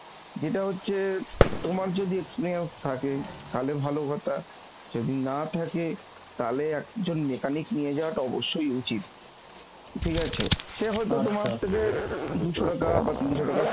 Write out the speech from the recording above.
যেটা হচ্ছে তোমার যদি experience থাকে তাহলে ভালো কথা যদি না থাকে তাহলে একজন mechanic নিয়ে যাওয়াটা অবশ্যই উচিত, ঠিক আছে সে থেকে দুশো টাকা বা তিনশো টাকা